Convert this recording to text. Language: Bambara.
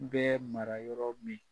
N bɛ mara yɔrɔ min